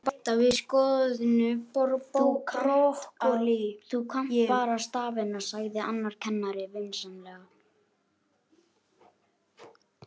Þú kannt bara stafina, sagði annar kennarinn vinsamlega.